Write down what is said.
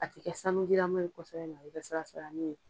A tɛ kɛ sa nujilaman ye kosɛbɛ mɛ a bɛ sialasalani ye